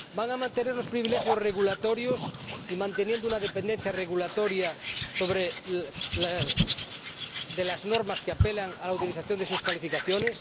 ¿Van a mantener los privilegios regulatorios y una dependencia regulatoria de las normas que apelan a la utilización de sus calificaciones?